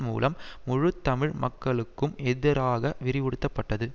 மூலம் முழு தமிழ் மக்களுக்கும் எதிராக விரிவுறுத்தப்பட்டது